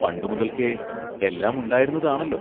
പണ്ടു മുതൽക്കേ എല്ലാം ഉണ്ടായിരുന്നതാണല്ലോ!